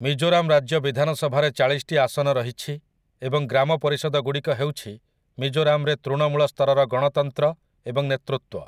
ମିଜୋରାମ୍ ରାଜ୍ୟ ବିଧାନସଭାରେ ଚାଳିଶଟି ଆସନ ରହିଛି ଏବଂ ଗ୍ରାମ ପରିଷଦଗୁଡ଼ିକ ହେଉଛି ମିଜୋରାମ୍‌ରେ ତୃଣମୂଳ ସ୍ତରର ଗଣତନ୍ତ୍ର ଏବଂ ନେତୃତ୍ୱ ।